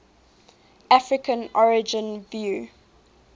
african origin view